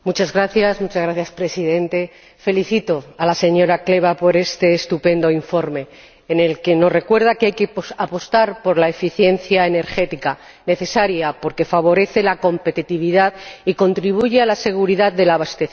Señor Presidente, felicito a la señora Kleva por este estupendo informe en el que nos recuerda que hay que apostar por la eficiencia energética, necesaria porque favorece la competitividad y contribuye a la seguridad del abastecimiento.